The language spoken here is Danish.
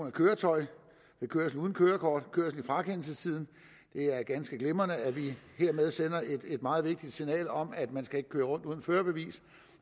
af køretøj ved kørsel uden kørekort og kørsel i frakendelsestiden det er ganske glimrende at vi hermed sender et meget vigtigt signal om at man ikke skal køre rundt uden førerbevis